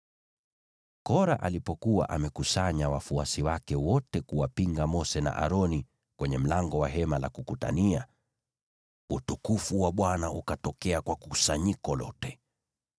Kora alipokuwa amekusanya wafuasi wake wote kuwapinga Mose na Aroni kwenye mlango wa Hema la Kukutania, utukufu wa Bwana ukatokea kwa kusanyiko lote.